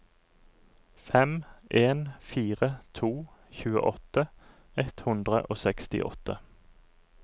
fem en fire to tjueåtte ett hundre og sekstiåtte